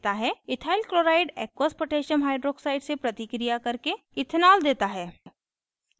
ethyl chloride aqueous potassium hydroxide से प्रतिक्रिया करके ethanol देता है